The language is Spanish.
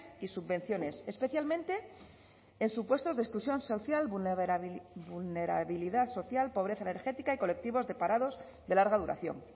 y subvenciones especialmente en supuestos de exclusión social vulnerabilidad social pobreza energética y colectivos de parados de larga duración